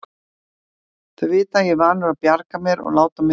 Þau vita að ég er vanur að bjarga mér og láta mig því afskiptalausan.